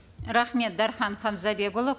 рахмет дархан хамзабекұлы